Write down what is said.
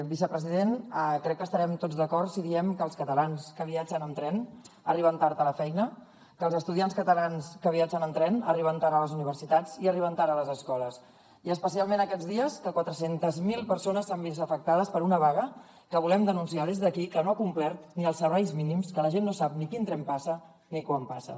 vicepresident crec que estarem tots d’acord si diem que els catalans que viatgen en tren arriben tard a la feina que els estudiants catalans que viatgen en tren arriben tard a les universitats i arriben tard a les escoles i especialment aquests dies que quatre cents miler persones s’han vist afectades per una vaga que volem denunciar des d’aquí que no ha complert ni els serveis mínims que la gent no sap ni quin tren passa ni quan passa